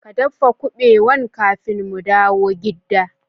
Ka daffa kubewan kafin mu dawo gidda.